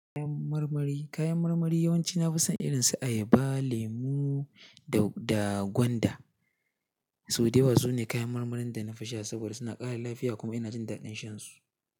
Kayan marmari, kayan marmari yawan ci na fi son irin su ayaba, lemu da, da gwanda. Sau da yawa su ne kayan marmarin da na fi sha saboda suna ƙara lafiya kuma ina jin daɗin shan su.